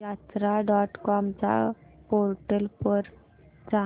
यात्रा dot com च्या portal वर जा